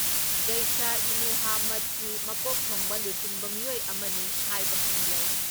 ꯖꯩꯁꯏꯃꯨꯍꯥꯃꯗꯀꯤ ꯃꯀꯣꯛ ꯊꯣꯡꯕ ꯂꯨꯆꯤꯡꯕ ꯃꯤꯑꯣꯏ ꯑꯃꯅꯤ ꯍꯥꯏꯕ ꯈꯪꯂꯦ ꯫